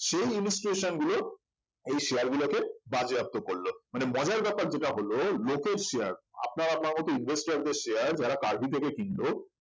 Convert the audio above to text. সেই institution গুলো এই share গুলো কে বাজেয়াপ্ত করল মানে মজার ব্যাপার যেটা হল লোকের share আপনারা আপনার মত investor দের share যারা কার্ভি থেকে কিনলো